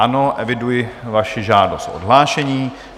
Ano, eviduji vaši žádost o odhlášení.